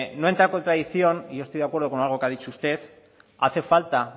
no entra en contradicción y yo estoy de acuerdo con algo que ha dicho usted hacen falta